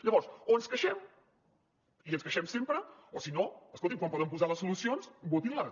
llavors o ens queixem i ens queixem sempre o si no escolti’m quan poden posar les solucions votin les